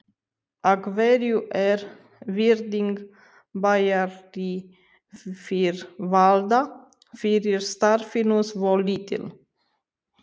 Af hverju er virðing bæjaryfirvalda fyrir starfinu svo lítil?